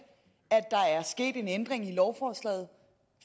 at der er sket en ændring i lovforslaget